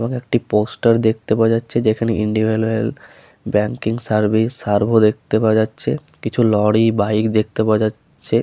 এইখানে একটি পোস্টার দেখতে পাওয়া যাচ্ছে যেখানে Indian Oil banking service survey দেখতে পাওয়া যাচ্ছে কিছু লরি বাইক দেখতে পাওয়া যাচ্ছে।